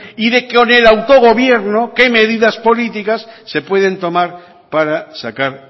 y de con el autogobierno qué medidas políticas se pueden tomar para sacar